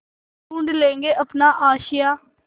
ढूँढ लेंगे अपना आशियाँ